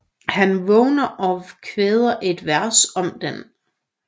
Han vågner og kvæder et vers om den